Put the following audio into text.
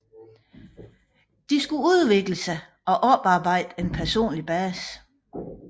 De skulle udvikle sig og oparbejde en personlig base